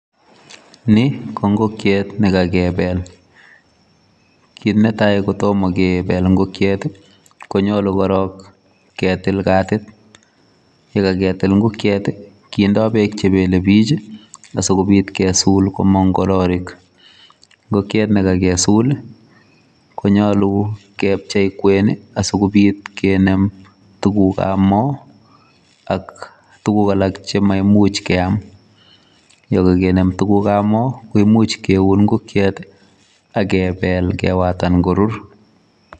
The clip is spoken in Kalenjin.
Ni ko ngokiet nekakebel. Kit netai kotomo kebel ngokiet konyolu korok ketil katit. Yekaketil ngokiet kendoi bek chebelebich sikobit komong kororik. Ngokiet nekakesul konyolu kebchei kwen sikobit kenem tugukabmo chemaimuch keam. Yekakenem tugukabmo koimuch keun ngokiet akebel kewatan korur.